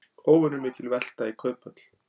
Óvenjumikil velta í Kauphöll